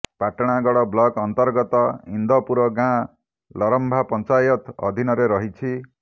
Patnagarh block ଅନ୍ତର୍ଗତ ଇନ୍ଦପୁର ଗାଁ ଲରମ୍ଭା ପଞ୍ଚାୟତ ଅଧୀନରେ ରହିଛି